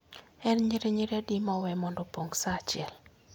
En nyirinyiri adi mowe mondo opong sa achiel